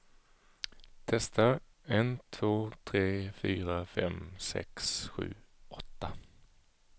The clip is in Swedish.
Testar en två tre fyra fem sex sju åtta.